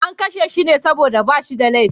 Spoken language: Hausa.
An sake shi ne saboda ba shi da laifi.